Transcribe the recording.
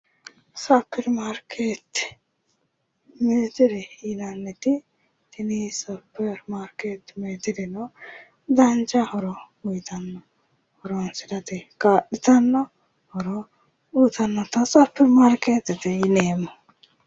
Superimarkeette yineemmo Superimarkeette dancha horo uyiitanno horonsirate kaa'litanno horo uyiitannota superimarkeettete yineemmo